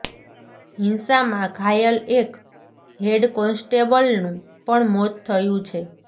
હિંસામાં ઘાયલ એક હેડ કોન્સ્ટેબલનું પણ મોત થયું છે